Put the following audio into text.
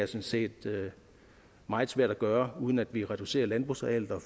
set meget svært at gøre uden at vi reducerer landbrugsarealet og